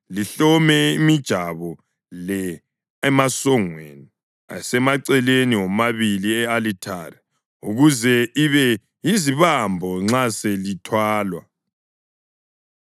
Lihlome imijabo le emasongweni asemaceleni womabili e-alithare ukuze ibe yizibambo nxa selithwalwa.